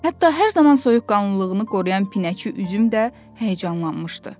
Hətta hər zaman soyuqqanlılığını qoruyan Pinəçi üzüm də həyəcanlanmışdı.